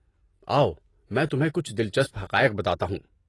آؤ، میں تمہیں کچھ دلچسپ حقائق بتاتا ہوں۔